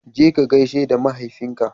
Je ka gaishe da mahaifinka